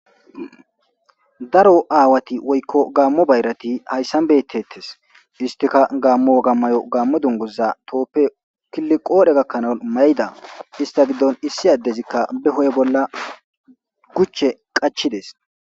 daro aawati woykko gaammo bayrati hayssan bettettes istika gaammo agammayo gaammo dunguza tooppe killi qoodhe gakkanaon mayda ista giddon issi addezikka be ho7e bolla guche qachides